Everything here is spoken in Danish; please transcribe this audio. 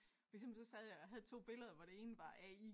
For eksempel så sad jeg og havde 2 billeder hvor det ene var AI